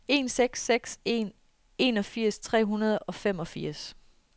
en seks seks en enogfirs tre hundrede og femogfirs